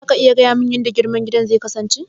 Za ka iya bayanin yanda girman gidan zai kasance?